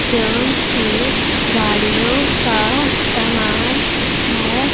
जो कि गाड़ियों का सामान है।